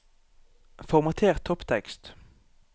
Formater topptekst